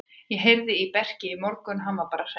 Ég heyrði í Berki í morgun og hann var bara hress.